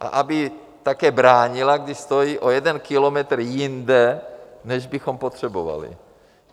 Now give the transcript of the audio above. A aby také bránila, když stojí o jeden kilometr jinde, než bychom potřebovali!